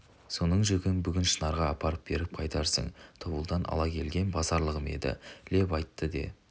соның жүгін бүгін шынарға апарып беріп қайтарсың тобылдан ала келген базарлығым еді леп айтты де